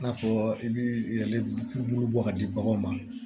I n'a fɔ i bi yɛrɛ k'ulu bɔ ka di baganw ma